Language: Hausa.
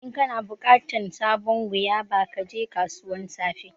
In kana bukatan sabon guava, ka je kasuwan safe.